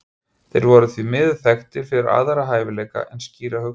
þeir voru því miður þekktir fyrir aðra hæfileika en skýra hugsun